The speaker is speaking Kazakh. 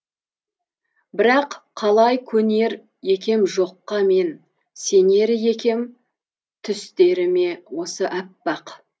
бірақ қалай көнер екем жоққа мен сенер екем түстеріме осы аппақ